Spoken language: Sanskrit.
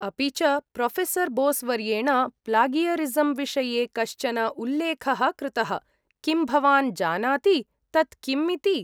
अपि च, प्रोफेसर् बोस्वर्येण प्लागियरिसम् विषये कश्चन उल्लेखः कृतः; किं भवान् जानाति, तत् किम् इति?